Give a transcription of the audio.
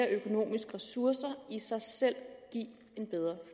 økonomiske ressourcer i sig selv give en bedre